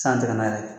San tɛmɛna yɛrɛ